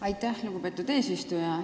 Aitäh, lugupeetud eesistuja!